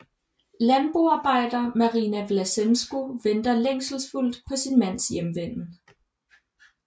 Landboarbejder Marina Vlasenko venter længselsfuldt på sin mands hjemvenden